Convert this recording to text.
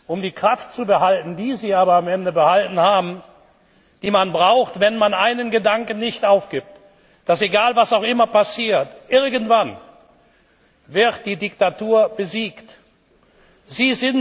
um die Kraft zu behalten, die Sie aber am Ende behalten haben, die man braucht, wenn man einen Gedanken nicht aufgibt Dass, egal, was auch immer passiert, die Diktatur irgendwann besiegt wird.